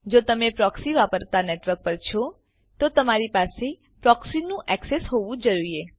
જો તમે પ્રોક્સી વાપરતા નેટવર્ક પર છો તો તમારી પાસે પ્રોક્સીનું એક્સેસ હોવું જોઈએ